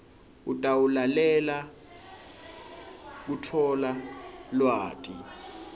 utawulalelela kutfola lwati